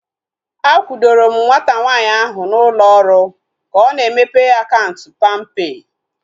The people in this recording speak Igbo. A kwudoro m nwata nwaanyị ahu na ụlọ ọrụ ka ọ na-emepe akaụntụ palmpay